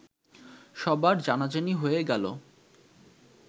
সবার জানাজানি হয়ে গেল